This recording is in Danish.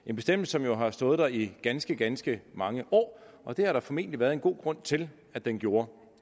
en bestemmelse som jo har stået der i ganske ganske mange år og det har der formentlig været en god grund til at den gjorde